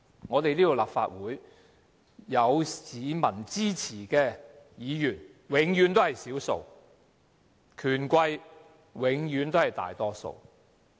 在這個立法會，有市民支持的議員永遠是少數，權貴永遠是大多數。